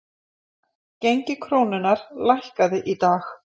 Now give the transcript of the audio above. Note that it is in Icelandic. Gengi krónunnar lækkaði í dag